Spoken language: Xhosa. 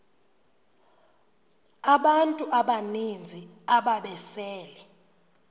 abantu abaninzi ababesele